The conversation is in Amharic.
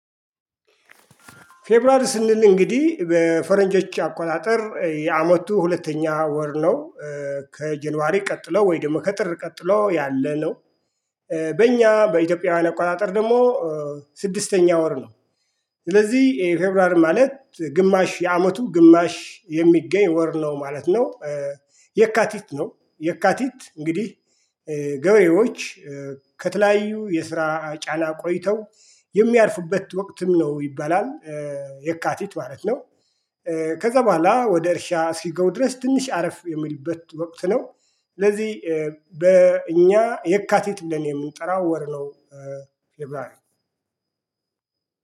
ፌብሩዋሪ ስንል እንግዲህ በፈረንጆች አቆጣጠር የአመቱ ሁለተኛ ወር ነው። ከጀንዋሪ ቀጥሎ ወይ ደግሞ ከጥር ቀጥሎ ያለ ነው። በእኛ በኢትዮጵያ አቆጣጠር ደግሞ ስድስተኛ ወር ነው። ስለዚህ የፌብሩዋር ማለት ግማሽ የአመቱ ግማሽ የሚገኝ ወር ነው ማለት ነው። የካቲት ነው የካቲት እንግዲህ ገበሬዎች ከተለያዩ የስራ ጫና ቆይተው የሚያርፉበት ወቅትም ነው ይባላል። የካቲት ማለት ነው። ከዛ በኋላ ወደ እርሻ እስኪገቡ ድረስ ትንሽ አረፍ የሚሉበት ወቅት ነው። ስለዚህ በእኛ የካቲት ብለን የምንጠራው ወር ነው።